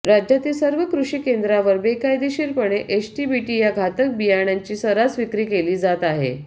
राज्यातील सर्व कृषी केंद्रांवर बेकायदेशीर एचटीबीटी या घातक बियाणांची सर्रास विक्री केली जात आहे